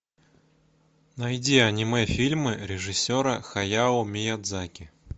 найди аниме фильмы режиссера хаяо миядзаки